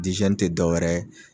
Dizɛni te dɔwɛrɛ ye